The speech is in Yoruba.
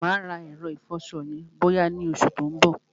Mà á rà ẹ̀rọ ìfọṣọ yẹn bọ́yá ni oṣù tí ó ń bọ̀.